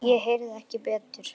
Ég heyrði ekki betur.